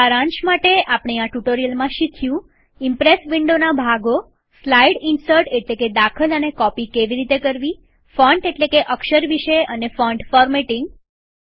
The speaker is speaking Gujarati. સારાંશ માટે આપણે આ ટ્યુટોરીયલમાં શીખ્યું ઈમ્પ્રેસ વિન્ડોના ભાગોસ્લાઈડ ઇન્સર્ટ એટલેકે દાખલ અને કોપી કેવી રીતે કરવીફોન્ટ એટલેકે અક્ષર વિશે અને ફોન્ટ ફોર્મેટિંગ